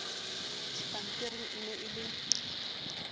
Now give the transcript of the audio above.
dipampiring e ne e le